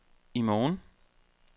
i morgen